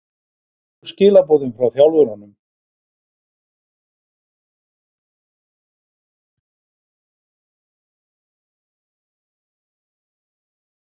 Hver voru skilaboðin frá þjálfurunum?